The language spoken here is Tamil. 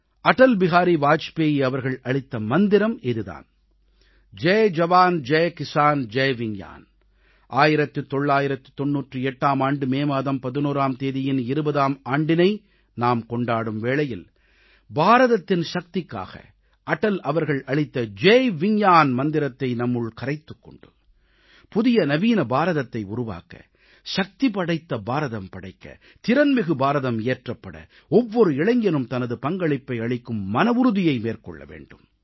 அடல் பிஹாரி வாஜ்பாய் அவர்கள் அளித்த மந்திரம் இது தான் ஜெய் ஜவான் ஜெய் கிசான் ஜெய் விஞ்ஞான் 1998ஆம் ஆண்டு மே மாதம் 11ஆம் தேதியின் 20ஆம் ஆண்டினை நாம் கொண்டாடும் வேளையில் பாரதத்தின் சக்திக்காக அடல் அவர்கள் அளித்த ஜெய் விஞ்ஞான் மந்திரத்தை நம்முள் கரைத்துக் கொண்டு புதிய நவீன பாரதத்தை உருவாக்க சக்திபடைத்த பாரதம் படைக்க திறன்மிகு பாரதம் இயற்றப்பட ஒவ்வொரு இளைஞனும் தனது பங்களிப்பை அளிக்கும் மனவுறுதியை மேற்கொள்ள வேண்டும்